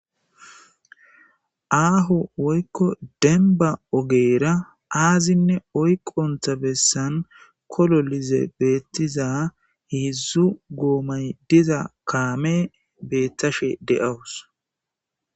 Aahu woykko denba ogeera aazinne oyqontha bessan kolo lize beettiza hidzdzu goomay diza kaame beettashe de7awus.